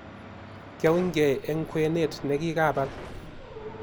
Kiaunygei eng' ng'wenet ne kikiabal